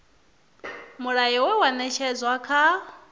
mulayo we wa ṅetshedzwa kha